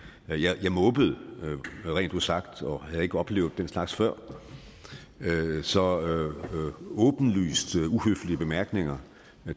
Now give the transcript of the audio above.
jeg måbede rent ud sagt og havde ikke oplevet den slags før så åbenlyst uhøflige bemærkninger